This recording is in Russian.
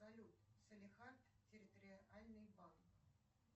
салют салехард территориальный банк